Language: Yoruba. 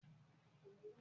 Ìgbà wo ni e bímọ?